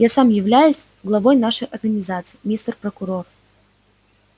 я сам являюсь главой нашей организации мистер прокурор